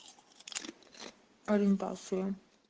ориентация